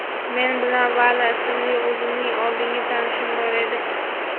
men bilan Vali ismli o‘zimning oldingi tanishim bor edi.